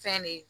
Fɛn de ye